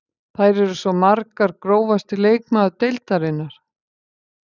Þær eru svo margar Grófasti leikmaður deildarinnar?